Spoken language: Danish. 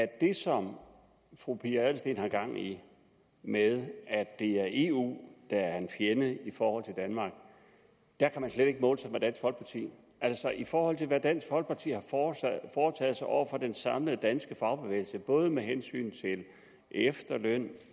det som fru pia adelsteen har gang i med at det er eu der er en fjende i forhold til danmark der kan eu slet ikke måle sig med dansk folkeparti altså i forhold til hvad dansk folkeparti har foretaget sig over for den samlede danske fagbevægelse både med hensyn til efterløn